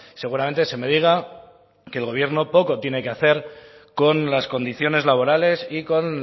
seguramente se me diga que el gobierno poco tiene que hacer con las condiciones laborales y con